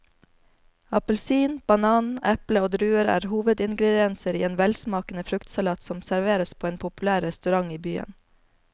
Appelsin, banan, eple og druer er hovedingredienser i en velsmakende fruktsalat som serveres på en populær restaurant i byen.